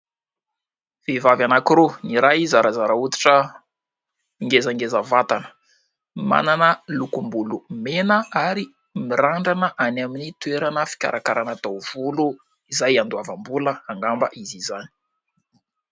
Vehivavy anankiroa : ny iray zarazara hoditra, ngezangeza vatana, manana lokom-bolo mena ary mirandrana any amin'ny toerana fikarakarana taovolo izay andoavam-bola angamba izy izany.